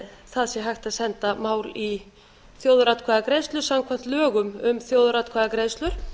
það sé hægt að senda mál i þjóðaratkvæðagreiðslu samkvæmt lögum um þjóðaratkvæðagreiðslur